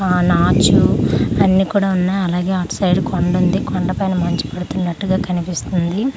ఆ నాచు అన్నీ కూడా ఉన్నాయి అలాగే అటు సైడ్ కొండ ఉంది కొండ పై మంచు పడుతున్నటు గా కనిపిస్తుంది అలాగే.